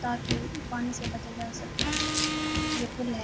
تاکی پانی سے بچا جا سکے، یہ پول ہے۔